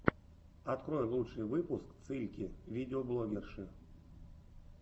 открой лучший выпуск цыльки видеоблогерши